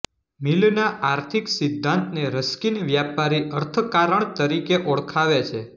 મિલના આર્થિક સિદ્ધાંતને રસ્કિન વ્યાપારી અર્થકારણ તરીકે ઓળખાવે છે